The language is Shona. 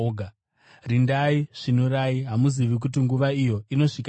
Rindai! Svinurai! Hamuzivi kuti nguva iyo inosvika rini.